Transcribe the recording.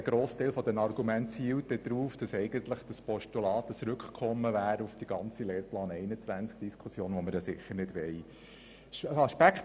Ein grosser Teil der Argumente zielt darauf, dass dieses Postulat ein Rückkommen auf die Lehrplan-21-Diskussion wäre, was wir sicher nicht wollen.